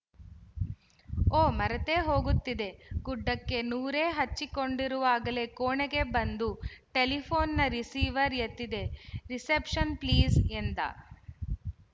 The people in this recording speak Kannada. ಓಹ್ ಮರೆತೇ ಹೋಗುತ್ತಿದ್ದೆ ಗುಡ್ಡಕ್ಕೆ ನೊರೆ ಹಚ್ಚಿಕೊಂಡಿರುವಾಗಲೇ ಕೋಣೆಗೆ ಬಂದು ಟೆಲಿಫೋ ನ್ ರಿಸೀವರ್ ಎತ್ತಿದ ರಿಸೆಪ್ಷನ್ ಪ್ಲೀಜ್ ಎಂದ